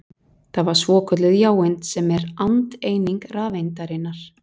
Það var svokölluð jáeind sem er andeind rafeindarinnar.